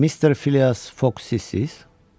Mister Fias Fox sizsiz?